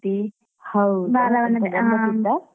ಹೌದಾ ಗಮ್ಮತ್ತಿತ್ತ?